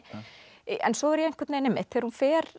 en svo þegar hún fer